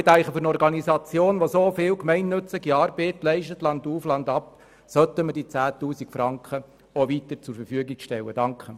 Ich denke, für eine Organisation, die landauf, landab so viel gemeinnützige Arbeit leistet, sollten wir diese 10 000 Franken weiterhin aufwenden.